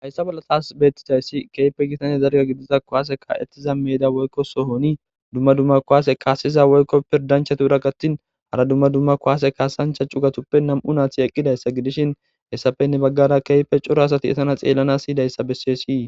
hayssa bolla taas beettidayssi keype gitane zarga gidiza kohase ka7ettiza meeda woykko sohoni dumma dumma kohaase kaasiza woykko pirdanchatuura gattin hara dumma dumma kohase kaasancha cugatuppe nam7u naathi eqqidayssa gidishin hessafenne baggara keype coro asati etana xeellana hiyidayssa besseshii